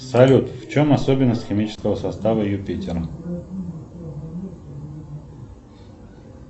салют в чем особенность химического состава юпитера